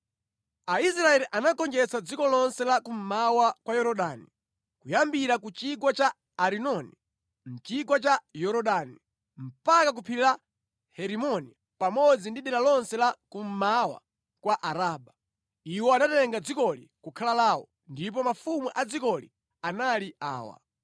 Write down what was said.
Aisraeli anagonjetsa dziko lonse la kummawa kwa Yorodani, kuyambira ku chigwa cha Arinoni mpaka ku phiri la Herimoni pamodzi ndi dera lonse la kummawa kwa Araba. Iwo anatenga dzikoli kukhala lawo, ndipo mafumu a dzikoli anali awa: